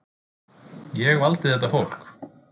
Ég valdi þetta fólk.